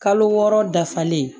Kalo wɔɔrɔ dafalen